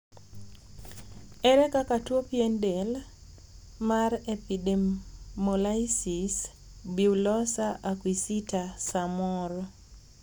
ere kaka tuo pien del mar epidermolysis bullosa acquisita samoro